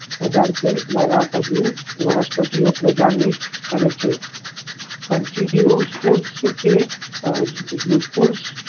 વનસ્પતિઓ પ્રજનન કરે છે કે